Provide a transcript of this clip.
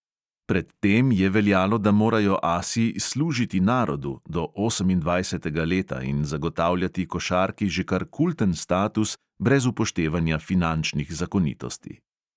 Pred tem je veljalo, da morajo asi "služiti narodu" do osemindvajsetega leta in zagotavljati košarki že kar kulten status brez upoštevanja finančnih zakonitosti.